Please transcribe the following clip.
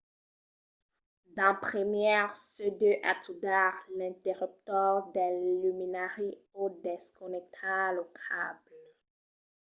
d'en primièr se deu atudar l’interruptor del luminari o desconnectar lo cable